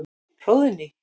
Hróðný